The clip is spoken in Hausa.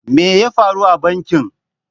Me ya faru a bankin?